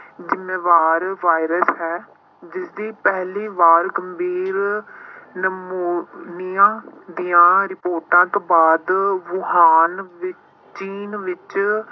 ਜ਼ਿੰਮੇਵਾਰ ਵਾਇਰਸ ਹੈ ਜਿਸਦੀ ਪਹਿਲੀ ਵਾਰ ਗੰਭੀਰ ਨਮੋਨੀਆ ਦੀਆਂ ਰਿਪੋਰਟਾਂ ਤੋਂ ਬਾਅਦ ਵੂਹਾਨ ਵਿੱ~ ਚੀਨ ਵਿੱਚ